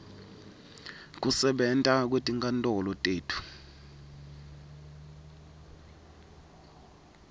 kusebenta kwetinkantolo tetfu